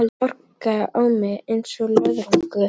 Þögn sem orkaði á mig einsog löðrungur.